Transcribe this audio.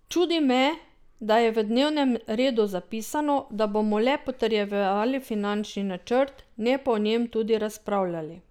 Čudi me, da je v dnevnem redu zapisano, da bomo le potrjevali finančni načrt, ne pa o njem tudi razpravljali.